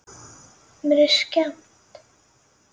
Mér er skemmt.